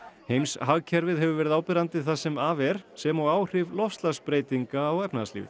heims heimshagkerfið hefur verið áberandi það sem af er sem og áhrif loftslagsbreytinga á efnahagslífið